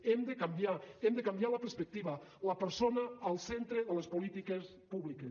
hem de canviar hem de canviar la perspectiva la persona al centre de les polítiques públiques